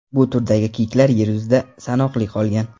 Bu turdagi kiyiklar yer yuzida sanoqli qolgan.